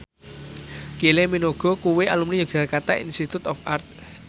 Kylie Minogue kuwi alumni Yogyakarta Institute of Art